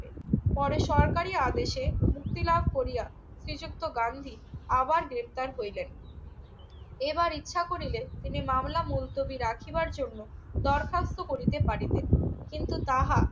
পরে সরকারি আদেশে মুক্তি লাভ করিয়া শ্রীযুক্ত গান্ধী আবার গ্রেফতার হইলেন। এবার ইচ্ছা করিলে মামলা মূলতুবি রাখিবার জন্য দরখাস্ত করিতে পারিতেন। কিন্তু তাহা